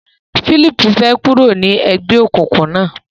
Phillip fè kúrò ní ègbéòkùnkùn na.